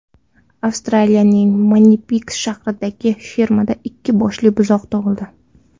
Avstraliyaning Manipiks shahridagi fermada ikki boshli buzoq tug‘ildi.